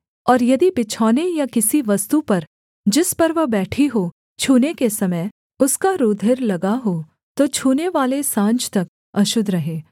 और यदि बिछौने या और किसी वस्तु पर जिस पर वह बैठी हो छूने के समय उसका रूधिर लगा हो तो छूनेवाले साँझ तक अशुद्ध रहे